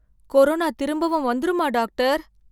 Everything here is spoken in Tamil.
கொரோனா திரும்பவும் வந்துருமா டாகடர்?